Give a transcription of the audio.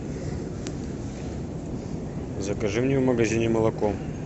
закажи мне в магазине молоко